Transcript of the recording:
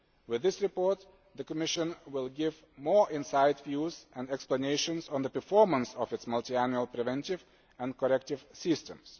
budget. With this report, the Commission will give more inside views and explanations on the performance of its multiannual preventive and corrective